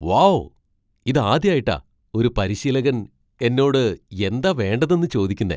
Wow ! ഇതാദ്യായിട്ടാ ഒരു പരിശീലകൻ എന്നോട് എന്താ വേണ്ടതെന്ന് ചോദിക്കുന്നേ .